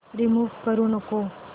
remove करू नको